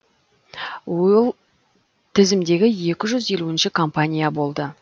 ол тізімдегі екі жүз елуінші компания болды